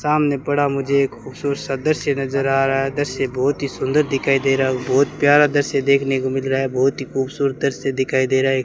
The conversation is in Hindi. सामने पड़ा मुझे एक खूबसूरत सा दृश्य नजर आ रहा है दृश्य बहोत ही सुंदर दिखाई दे रहा है बहोत प्यारा दृश्य देखने को मिल रहा है बहोत ही खूबसूरत दृश्य दिखाई दे रहा है।